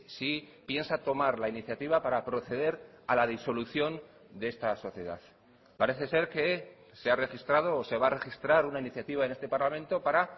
si piensa tomar la iniciativa para proceder a la disolución de esta sociedad parece ser que se ha registrado o se va a registrar una iniciativa en este parlamento para